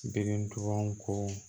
Degun ko